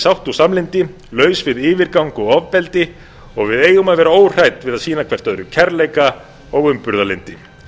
sátt og samlyndi laus við yfirgang og ofbeldi og við eigum að vera óhrædd við að sýna hvort öðru kærleika og umburðarlyndi